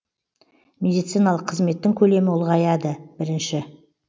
медициналық қызметтің көлемі ұлғаяды бірінші